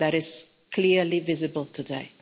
ago. That is clearly visible today.